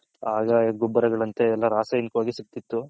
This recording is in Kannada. ಹಾಗ ಗೊಬ್ಬರಗಳಂತೆ ರಾಸಾಯನಿಕ ಸಿಗ್ತಿತು.